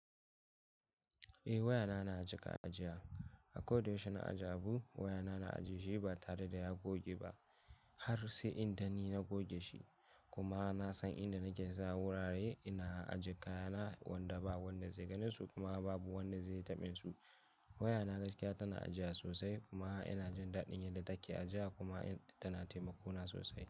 Eh waya na na a jaƙa ajiya. Akoda yaushe na ajiye abu, waya na na ajiye shi ba tare da ya goge ba har sai in dan ni na goge shi. Kuma na san inda nake sa wurare ina ajiye kayana wanda ba wanda zai gani su kuma babu wanda zai taɓa su. Waya na gaskiya ta na ajiya sosai kuma ina jin daɗin yadda take ajiya kuma ta na taimako na sosai.